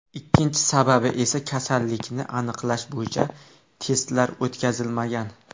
Ikkinchi sababi esa kasallikni aniqlash bo‘yicha testlar o‘tkazilmagan.